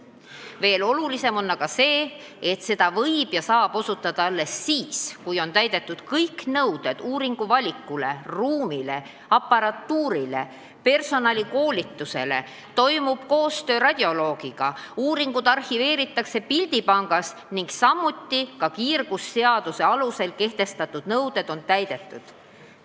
Veel olulisem on aga see, et seda teenust võib osutada alles siis, kui on täidetud kõik nõuded uuringuvaliku, ruumi, aparatuuri ja personali koolituse kohta, kui toimub koostöö radioloogiga, uuringute tulemused arhiveeritakse pildipangas ning ka kiirgusseaduse alusel kehtestatud nõuded on täidetud.